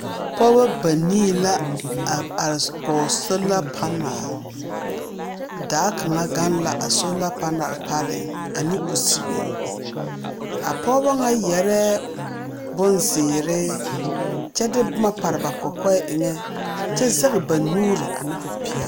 pɔgeba banii la are kɔge soala panal. Daa kaŋa gaŋ la salo panal pareeŋ ane kusibe. A pɔgeba ŋa yarɛɛ bonzeere kyɛ de boma pare ba kɔkɔɛ eŋɛ kyɛ zɛge ba nuuri ane popeɛloŋ.